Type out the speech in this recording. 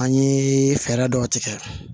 An ye fɛɛrɛ dɔw tigɛ